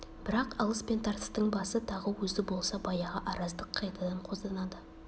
бірақ алыс пен тартыстың басы тағы өзі болса баяғы араздық қайтадан қозданады